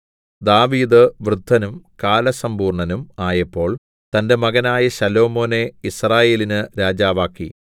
ദാവീദ് വൃദ്ധനും കാലസമ്പൂർണ്ണനും ആയപ്പോൾ തന്റെ മകനായ ശലോമോനെ യിസ്രായേലിന് രാജാവാക്കി